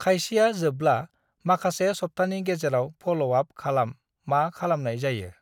खायसेया जोबब्ला माखासे सब्थानि गेजेराव फ'ल' आप खालाम मा खालामनाय जायो।